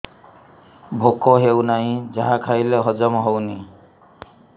ଭୋକ ହେଉନାହିଁ ଯାହା ଖାଇଲେ ହଜମ ହଉନି